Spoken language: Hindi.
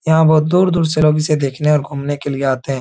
यहाँ बहुत दूर- दूर से लोग इसे देखने और घूमने के लिए आते हैं।